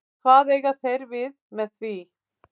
En hvað eiga þeir við með því?